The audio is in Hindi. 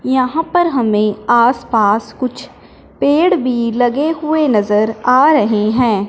यहां पर हमें आसपास कुछ पेड़ भी लगे हुए नजर आ रहे हैं।